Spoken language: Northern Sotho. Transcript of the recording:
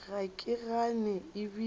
ga ke gane e bile